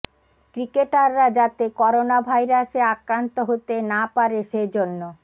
ক্রিকেটাররা যাতে করোনা ভাইরাসে আক্রান্ত হতে না পারে সেজন্য